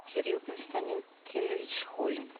кирилл константинович холин